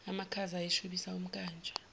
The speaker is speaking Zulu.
amakhaza ayeshubisa umnkantsha